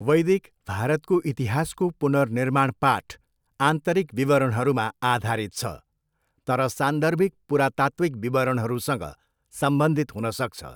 वैदिक भारतको इतिहासको पुनर्निर्माण पाठ आन्तरिक विवरणहरूमा आधारित छ, तर सान्दर्भिक पुरातात्विक विवरणहरूसँग सम्बन्धित हुन सक्छ।